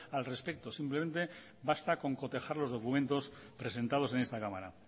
al respecto simplemente basta con cotejar los documentos presentados en esta cámara